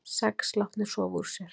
Sex látnir sofa úr sér